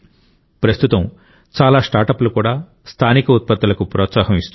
ప్రస్తుతం చాలా స్టార్టప్లు కూడా స్థానిక ఉత్పత్తులకు ప్రోత్సాహం ఇస్తున్నాయి